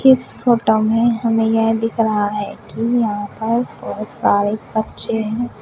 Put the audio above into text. इस फोटो में हमें यह दिख रहा है कि यहां पर बहुत सारे बच्चे हैं।